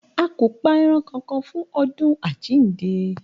A kò pa e̩ran kankan fún odún àjíǹde